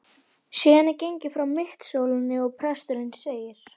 Síðan er gengið frá mittisólinni, og presturinn segir